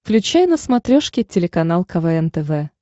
включай на смотрешке телеканал квн тв